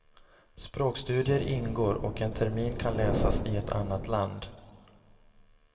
Språkstudier ingår och en termin kan läsas i ett annat land.